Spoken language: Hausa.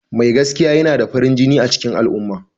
Mai gaskiya yana da farin jini a cikin al'umma.